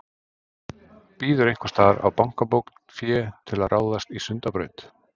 Bíður einhvers staðar á bankabók fé til að ráðast í Sundabraut?